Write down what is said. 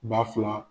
Ba fila